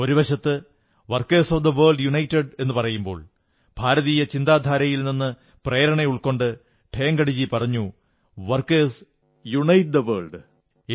ഒരുവശത്ത് workers of the world unite എന്നു പറയുമ്പോൾ ഭാരതീയ ചന്താധാരയിൽ നിന്നു പ്രേരണ ഉൾക്കൊണ്ട് ഠേംഗഡിജി പറഞ്ഞു വർക്കേഴ്സ് യൂണൈറ്റ് ദ വേൾഡ്